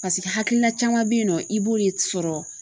Paseke hakilina caman be yen nɔ i b'o de sɔrɔ